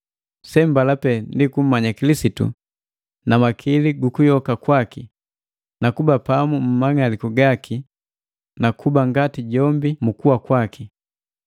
Sembala pee ndi kummanya Kilisitu na makili gukuyoka kwaki, nuku kuba pamu mu mang'aliku gaki, nakuba ngati jombi mu kuwa kwaki,